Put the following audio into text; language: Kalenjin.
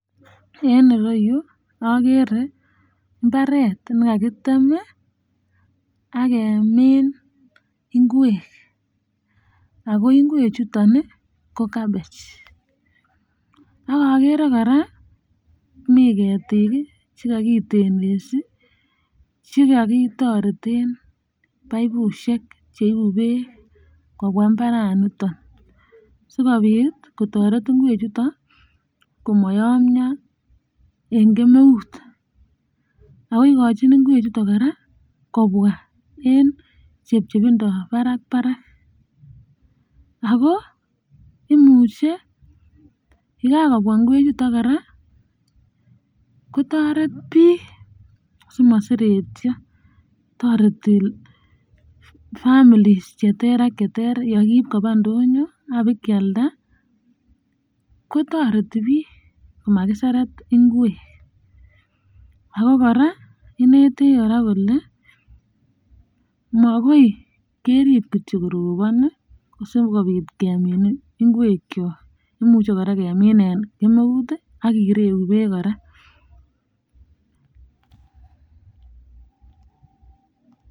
En irou agere imbaret ne kakitem ii ak kemin ikwek ago ikwek ichuton ii ko cabbage ak agere koraa mi ketik ii chekakitelesi chekokitoreten pipushek cheibu beek kobwa imbaraniton sikobit kotoret ikwek ichuton ii komayamio en kemeut ago ikojin ikwek ichuton koraaa kobwa en chepchepbindoo barak barak ago imuche yegakobwa ikwek ichuton koraaa kotoret biik simoseretio toreti families cheter ak cheter yakiib koba indonyo ab kealda kotoreti biik komoseret ikwek ak koraa inetech kole makoi kerib kityo korobon ii sikobit kemin ikwek kyok imuche koraa kemin en kemeut ak kireu beek koraa